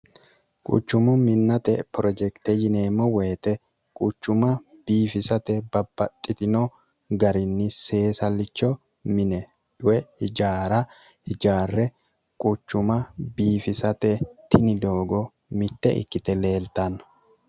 quchumo minnate porojekite yineemmo woyite quchuma biifisate babbaxxitino garinni seesallicho mine dhue hijaara hijaarre quchuma biifisate tini doogo mitte ikkite leeltanno